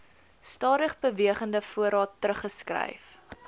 stadigbewegende voorraad teruggeskryf